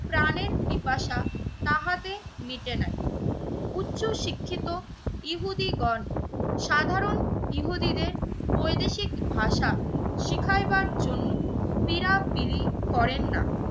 প্রাণের পিপাসা তাহাতে মিটে নাই। উচ্চশিক্ষিত ইহুদীগণ সাধারণ ইহুদিদের বৈদেশিক ভাষা শিখাইবার জন্য তিরাতরি করেন না